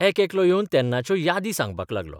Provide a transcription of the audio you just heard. एकेकलो येवन तेन्नाच्यो यादी सांगपाक लागलो.